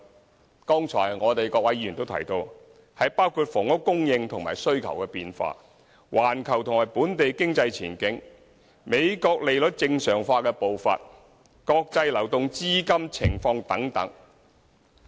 這些因素剛才各位議員都提到，包括房屋供應和需求變化、環球和本地經濟前景、美國利率正常化的步伐，國際流動資金情況等。